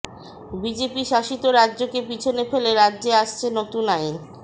BJP শাসিত রাজ্যকে পিছনে ফেলে রাজ্যে আসছে নতুন আইন